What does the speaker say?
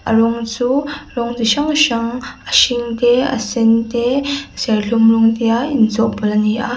a rawng chu rawng chi hrang hrang a hring te a sen te serthlum rawng te a inchawhpawlh ani a.